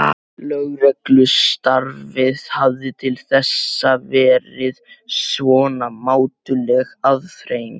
Lögreglustarfið hafði til þessa verið svona mátuleg afþreying.